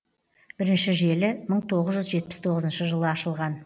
бірінші желі мың тоғыз жүз жетпіс тоғызыншы жылы ашылған